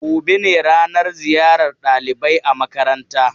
Gobe ne ranan ziyar ɗalibai a makaranta.